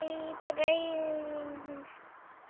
Æ, greyin.